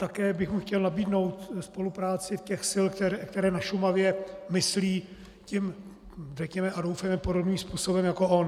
Také bych mu chtěl nabídnout spolupráci těch sil, které na Šumavě myslí tím, řekněme a doufejme, podobným způsobem jako on.